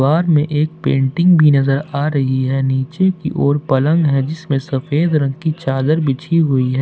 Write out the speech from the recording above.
बाहर में एक पेंटिंग भी नजर आ रही है नीचे की ओर पलंग है जिसमें सफेद रंग की चादर बिछी हुई है।